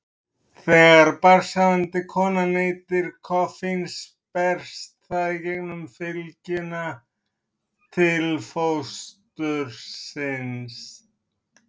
Þegar barnshafandi kona neytir koffíns berst það í gegnum fylgjuna til fóstursins.